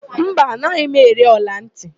Mba, anaghị m ere ọlantị.